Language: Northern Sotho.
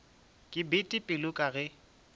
ke bete pelo ka ge